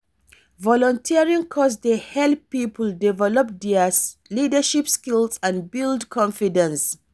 volunteering cause dey help people develop dia leadership skills and build confidence.